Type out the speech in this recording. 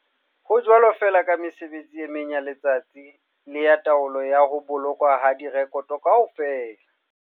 Ho jwalo feela ka mesebetsi e meng ya letsatsi le ya taolo ya ho bolokwa ha direkoto kaofela.